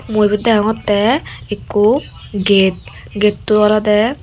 mui ibet degongotte ekku gate getto olode.